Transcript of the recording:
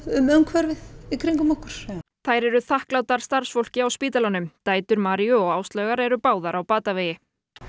um umhverfið í kringum okkur þær eru þakklátar starfsfólki á spítalanum dætur Maríu og Áslaugar eru báðar á batavegi